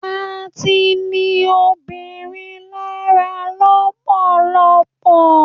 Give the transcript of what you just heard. a ti ni obirin lára lọpọlọpọ